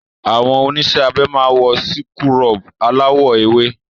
Àwọn oníṣẹ́ abẹ máa wọ síkúrọ̀bù aláwọ̀ ewé.